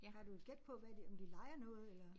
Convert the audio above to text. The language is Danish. Har du et gæt på hvad de om de leger noget eller